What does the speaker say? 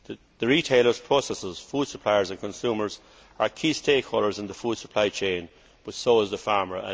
The retailers, processors, food suppliers and consumers are key stakeholders in the food supply chain, but so is the farmer.